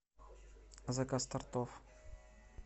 заказ тортов